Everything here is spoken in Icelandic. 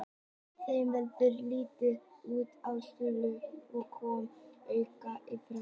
Þeim verður litið út í salinn og koma auga á Friðrik.